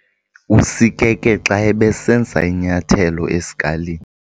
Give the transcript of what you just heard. Usikeke xa ebesenza inyathelo esikalini.